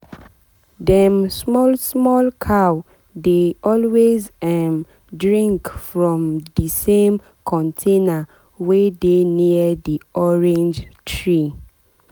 dem small small cow dey always um drink from from the same container wey dey near the orange tree.